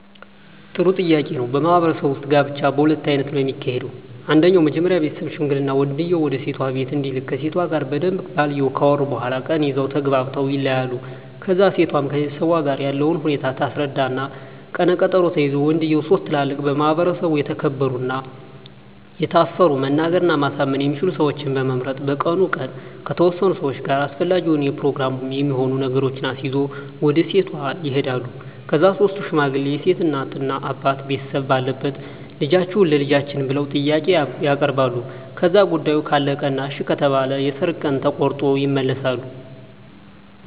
ጥሩ ጥያቄ ነው በማህበረሰቡ ውጥ ጋብቻ በሁለት አይነት ነው ከሚካሄደው አንደኛው መጀመሪ ቤተሠብ ሽምግልና ወንድየው ወደሴቷ ቢቤት እንዲልክ ከሴቷ ጋር በደንብ ባልየው ካወሩ በኋላ ቀን ይዘው ተግባብተው ይለያያሉ ከዛ እሴቷም ከቤተሠቧ ጋር ያለውን ሁኔታ ታስረዳ እና ቀነ ቀጠሮ ተይዞ ወንድየው ሥስት ትላልቅ በማህበረሰቡ የተከበሩ እና የታፈሩ መናገር እና ማሳመን የሚችሉ ሠወችን በመምረጥ በቀኑ ቀን ከተወሠኑ ሠዋች ጋር አሰፈላጊውን የፕሮግራም የሚሆኑ ነገሮችን አሲዞ ወደ ሴቷ ይሄዳሉ ከዛ ሥስቱ ሽማግሌ የሴት እናት አባት ቤተሰብ ባለበት ልደፈጅዎትን ቸልጃችን ብለው ጥያቄ ያበርባሉ ከዛ ጉዳዮ ካለቀ እና እሺ ከተባለ የሠርግ ቀን ተቆሮጦ ይመለሣሉ